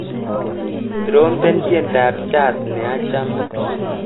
Trompen tyendap Jazz neachame.